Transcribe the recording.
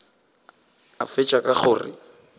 a fetša ka go re